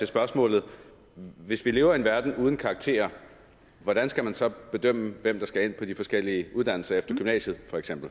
spørgsmålet hvis vi lever i en verden uden karakterer hvordan skal man så bedømme hvem der skal ind på de forskellige uddannelser efter gymnasiet